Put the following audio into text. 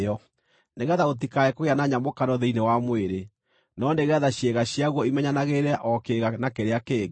nĩgeetha gũtikae kũgĩa na nyamũkano thĩinĩ wa mwĩrĩ, no nĩgeetha ciĩga ciaguo imenyanagĩrĩre o kĩĩga na kĩrĩa kĩngĩ.